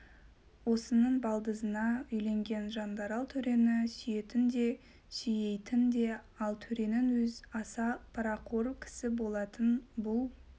осының балдызына үйленген жандарал төрені сүйетін де сүйейтін ал төренің өз аса парақор кісі болатын бұл